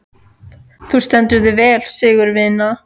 Þú stendur þig vel, Sigurvina!